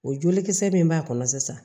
O jolikisɛ min b'a kɔnɔ sisan